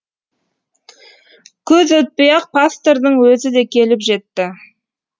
көп өтпей ақ пастордың өзі де келіп жетті